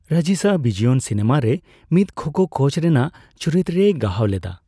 ᱨᱟᱡᱤᱥᱟ ᱵᱤᱡᱚᱭᱚᱱ ᱥᱤᱱᱮᱢᱟ ᱨᱮ ᱢᱤᱫ ᱠᱷᱳ ᱠᱷᱳ ᱠᱳᱪ ᱨᱮᱱᱟᱜ ᱪᱩᱨᱤᱛᱨᱮᱭ ᱜᱟᱦᱟᱣ ᱞᱮᱫᱟ ᱾